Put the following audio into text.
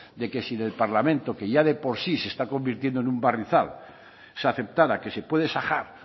de que si en el parlamento que ya de por sí se está convirtiendo en un barrizal se aceptara que se puede sajar